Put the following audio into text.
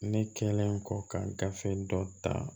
Ne kɛlen kɔ ka gafe dɔ ta